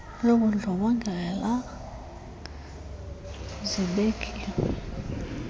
lobundlo bongela zibekiwe